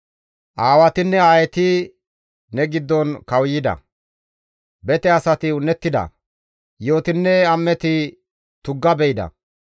Aawatinne aayeti ne giddon kawuyida; bete asati un7ettida; yi7otinne am7eti tugga be7ida.